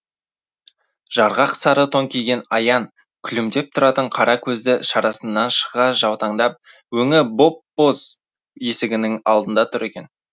жарғақ сары тон киген аян күлімдеп тұратын қара көзі шарасынан шыға жаутаңдап өңі боп боз есігінің алдында тұр екен